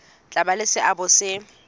tla ba le seabo se